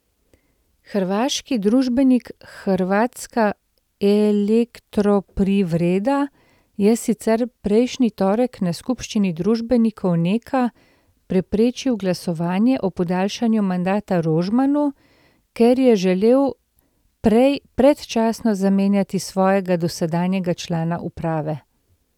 Hrvaški družbenik Hrvatska elektroprivreda je sicer prejšnji torek na skupščini družbenikov Neka preprečil glasovanje o podaljšanju mandata Rožmanu, ker je želel prej predčasno zamenjati svojega dosedanjega člana uprave.